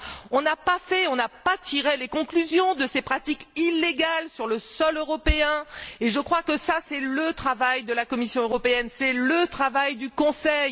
On n'a pas tiré les conclusions de ces pratiques illégales sur le sol européen, et je crois que ça, c'est le travail de la Commission européenne, c'est le travail du Conseil.